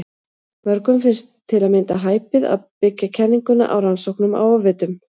Mörgum finnst til að mynda hæpið að byggja kenninguna á rannsóknum á ofvitum.